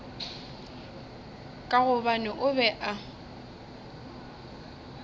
ka gobane o be a